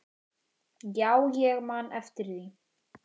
Já, ég man eftir því.